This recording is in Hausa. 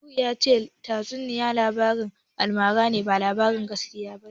Nuhu ya ce tatsuniya labarin almara ne, ba labarin gaskiya ba ne.